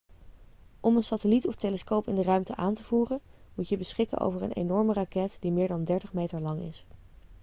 om een satelliet of telescoop in de ruimte aan te voeren moet je beschikken over een enorme raket die meer dan 30 meter lang is